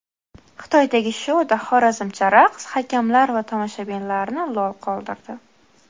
Xitoydagi shouda xorazmcha raqs hakamlar va tomoshabinlarni lol qoldirdi.